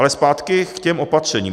Ale zpátky k těm opatřením.